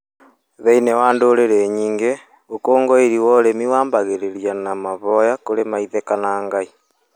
Thĩinĩ wa ndũrĩrĩ nyingĩ, ũkũngũĩri wa ũrĩmi wambĩrĩragia na mahoya kũri maithe kana Ngai.